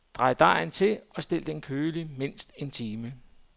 Dæk dejen til og stil den køligt mindst en time.